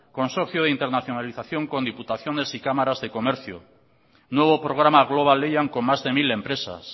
consorcio de internalización con diputaciones y cámaras de comercio nuevo programa global lehian con más de mil empresas